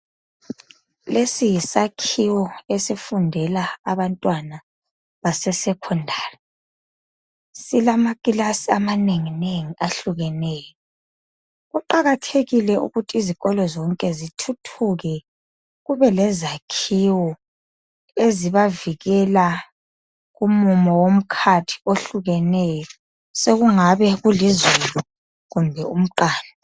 Lesi yisakhiwo esifundela abantwana base secondary .Silamakilasi amanenginengi ehlukeneyo kuqakathekile ukuthi izikolo zonke zithuthuke kubelezakhiwo ezibavikela kumumo womkhathi ohlukeneyo sekungaba kulizulu kumbe umqando.